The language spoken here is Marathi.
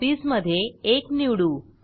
कॉपीज मधे 1 निवडू